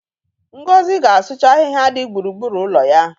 Ngozi ga-asụcha ahịhịa dị gburugburu ụlọ ya.